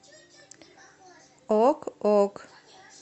ок ок